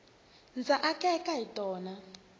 ndza akeka hi tona